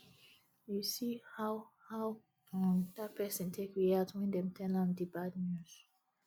you see how how um dat person take react wen dem tell am di bad news